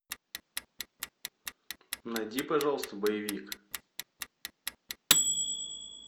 найди пожалуйста боевик